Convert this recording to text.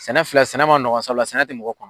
Sɛnɛ filɛ sɛnɛ ma nɔgɔn sabula sɛnɛ tɛ mɔgɔ kɔnɔ